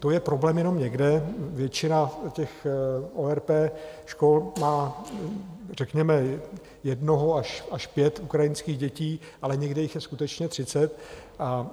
To je problém jenom někde, většina těch ORP škol má, řekněme, jedno až pět ukrajinských dětí, ale někde jich je skutečně třicet.